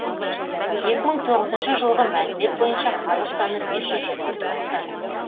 екі мың тоғызыншы жылғы мәлімет бойынша халық саны бес жүз жиырма тоғыз адам